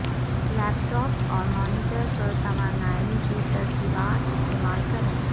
لیپ top اور monitor پر توانائی کی ترتیبات استعمال کریں